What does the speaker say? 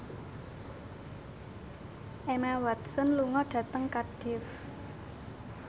Emma Watson lunga dhateng Cardiff